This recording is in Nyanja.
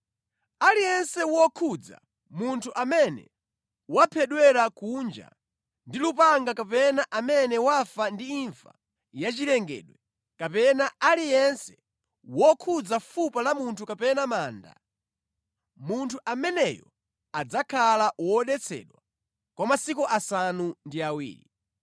“Aliyense wokhudza munthu amene waphedwera kunja ndi lupanga kapena amene wafa ndi imfa ya chilengedwe, kapena aliyense wokhudza fupa la munthu kapena manda, munthu ameneyo adzakhala wodetsedwa kwa masiku asanu ndi awiri.